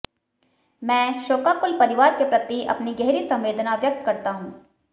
मैं शोकाकुल परिवार के प्रति अपनी गहरी संवेदना व्यक्त करता हूं